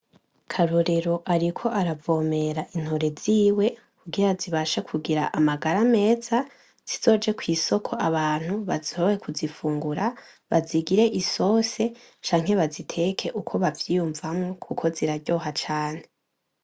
Karorero ariko aravomera intore ziwe, kugira zibashe kugira amagara meza, zizoje kwisoko abantu bashobore kuzifungura, bazigire isosi canke baziteke uko bavyiyumvamwo kuko ziraryoha cane.